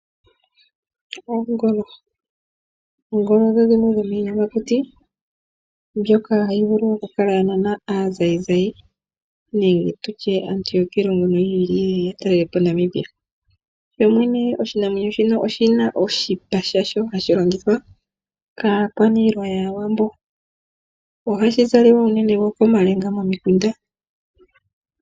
Oongolo odho dhimwe dhomiiyamakuti mbyoka hayi vulu okukala ya nana aazayizayi, nenge tutye aantu yokiilongo yiili yeya ya talele po Namibia. Shomwene oshinamwenyo shika oshipa shasho ohashi longithwa kaakwaniilwa ya yAawambo. Ohashi zaliwa wo unene komalenga momikunda.